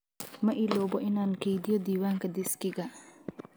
Ma iloobo inaan keydiyo diiwaanka diskiga.